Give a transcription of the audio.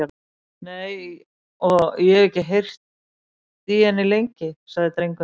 Nei, og ég hef ekki heyrt í henni lengi, sagði drengurinn.